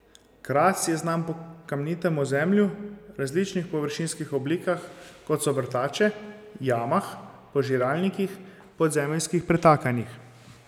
Kras je znan po kamnitem ozemlju, različnih površinskih oblikah, kot so vrtače, jamah, požiralnikih, podzemeljskih pretakanjih.